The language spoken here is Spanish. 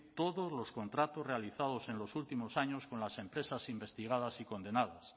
todos los contratos realizados en los últimos años con las empresas investigadas y condenadas